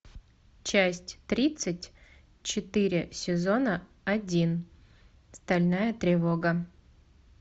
часть тридцать четыре сезона один стальная тревога